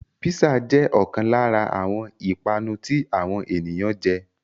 Písà jẹ́ ọ̀kan lára àwọn ìpanu tí àwọn ènìyàn jẹ